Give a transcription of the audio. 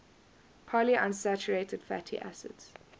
polyunsaturated fatty acids